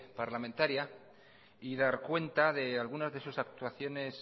parlamentaria y dar cuenta de algunas de sus actuaciones